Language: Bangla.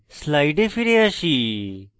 slides ফিরে আসি